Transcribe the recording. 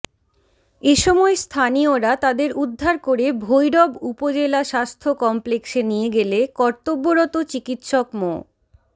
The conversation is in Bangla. এ সময় স্থানীয়রা তাদের উদ্ধার করে ভৈরব উপজেলা স্বাস্থ্য কমপ্লেক্সে নিয়ে গেলে কর্তব্যরত চিকিৎসক মো